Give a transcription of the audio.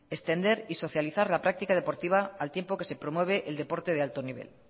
extender y socializar la práctica deportiva al tiempo que se promueve el deporte de alto nivel